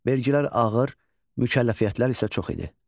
Vergilər ağır, mükəlləfiyyətlər isə çox idi.